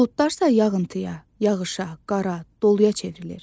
Buludlar isə yağıntıya, yağışa, qara, doluya çevrilir.